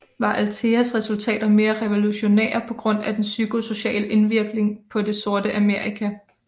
Var Altheas resultater mere revolutionære på grund af den psykosociale indvirkning på det Sorte Amerika